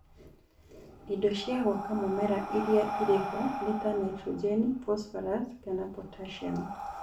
Indo cia gwaka mũmera iria irĩ ho nĩta naitrojeni, phosphorus kana potassium